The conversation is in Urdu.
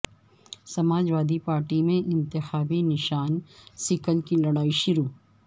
سماج وادی پارٹی میں انتخابی نشان سیکل کی لڑائی شروع